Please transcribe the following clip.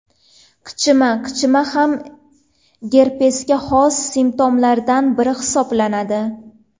Qichima Qichima ham gerpesga xos simptomlardan biri hisoblanadi.